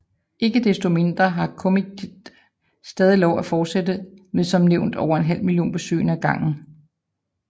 Ikke desto mindre har Comiket stadig lov at fortsætte med som nævnt over en halv million besøgende ad gangen